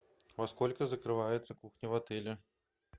во сколько закрывается кухня в отеле